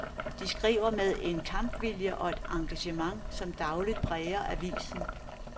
De skriver med en kampvilje og et engagement, som dagligt præger avisen.